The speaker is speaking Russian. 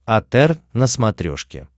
отр на смотрешке